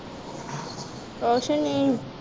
ਕੁਛ ਨਹੀਂ